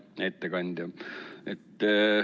Hea ettekandja!